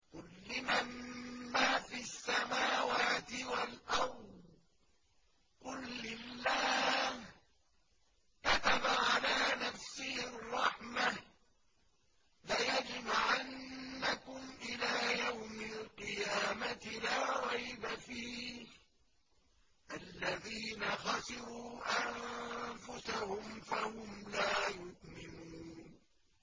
قُل لِّمَن مَّا فِي السَّمَاوَاتِ وَالْأَرْضِ ۖ قُل لِّلَّهِ ۚ كَتَبَ عَلَىٰ نَفْسِهِ الرَّحْمَةَ ۚ لَيَجْمَعَنَّكُمْ إِلَىٰ يَوْمِ الْقِيَامَةِ لَا رَيْبَ فِيهِ ۚ الَّذِينَ خَسِرُوا أَنفُسَهُمْ فَهُمْ لَا يُؤْمِنُونَ